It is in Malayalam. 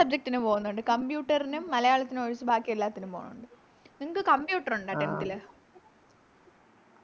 Subject നും പോവുന്നുണ്ട് Computer നും മലയാളത്തിനും ഒഴിച്ച് ബാക്കി എല്ലാത്തിനും പോണൊണ്ട് നിങ്ങക്ക് Computer ഉണ്ടോ Tenth ല്